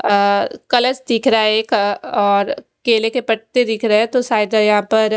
अ colours दिख रहा है एक और केले के पत्ते दिख रहे सायद यहाँ पर--